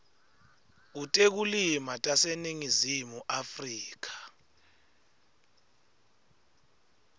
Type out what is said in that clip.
kutekulima taseningizimu afrika